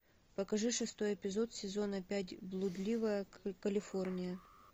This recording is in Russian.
покажи шестой эпизод сезона пять блудливая калифорния